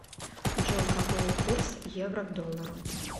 джой какой курс евро к доллару